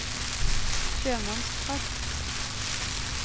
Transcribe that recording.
sjømannsprest